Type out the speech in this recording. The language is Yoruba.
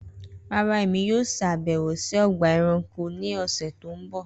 Rara Emi yoo ṣabẹwo si ọgba ẹranko ni ọsẹ ti n bọ